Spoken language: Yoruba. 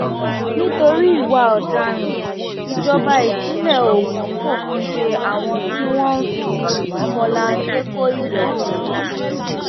nítorí ìwà ọdaràn ìjọba ìpínlẹ ogun fòfin de àwọn tí wọn ń fi ọmọlanke kọ ìdọtí